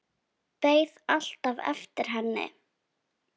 Beið alltaf eftir henni.